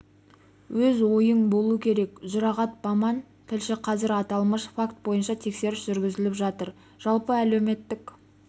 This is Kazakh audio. өз ойың болу керек жұрағат баман тілші қазір аталмыш факт бойынша тексеріс жүргізіліп жатыр жалпы әлеуметтік